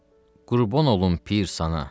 Qurban olum, pir sənə.